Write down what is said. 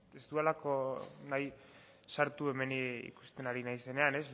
ez dudalako nahi sartu hemen ikusten ari naizenean